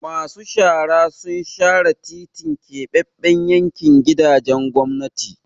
Masu shara sun share titin Keɓaɓɓen yankin gidajen gwamnati.